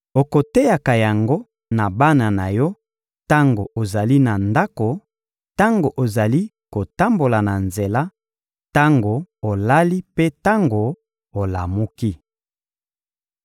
Okoteyaka yango na bana na yo tango ozali na ndako, tango ozali kotambola na nzela, tango olali mpe tango olamuki.